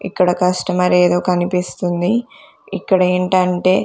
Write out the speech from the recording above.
ఇక్కడ కస్టమర్ ఏదో కనిపిస్తుంది ఇక్కడ ఏంటంటే--